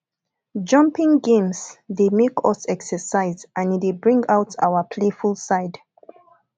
jumping games dey make us exercise and e dey bring out our playful side